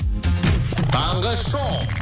таңғы шоу